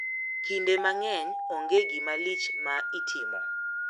Kinde mang`eny onge gima lich ma itimo.